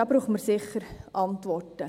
Da brauchen wir sicher Antworten.